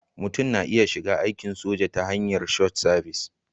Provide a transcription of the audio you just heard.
Mutum na iya shiga aikin soja ta hanyar Short Service